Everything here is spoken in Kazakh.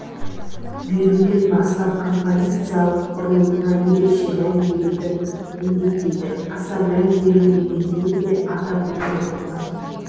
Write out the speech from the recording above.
беруден бастап композициялық құрылымына ерекше мән беруді міндеттейді аса мән берілмегенін де атап өткен абзал